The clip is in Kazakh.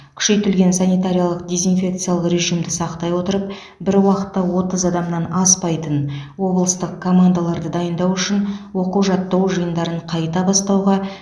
күшейтілген санитариялық дезинфекциялық режимді сақтай отырып бір уақытта отыз адамнан аспайтын облыстық командаларды дайындау үшін оқу жаттығу жиындарын қайта бастауға